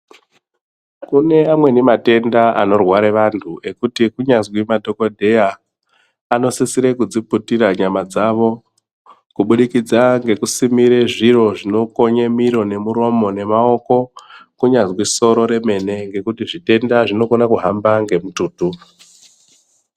Kune amweni matenda anorware vanthu ekuti kunyazwi madhokodheya anosisire kudziputira nyama dzavo kuburikidza ngekusimire zviro zvinokonye miro nemuromo nemaoko kunyazwi soro remene ngekuti zvitenda zvinokone kuhamba nemututu.